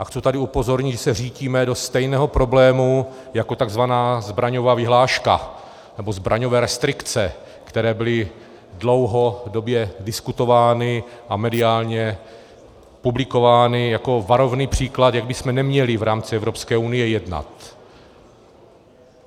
A chci tady upozornit, že se řítíme do stejného problému jako tzv. zbraňová vyhláška nebo zbraňové restrikce, které byly dlouhodobě diskutovány a mediálně publikovány jako varovný příklad, jak bychom neměli v rámci Evropské unie jednat.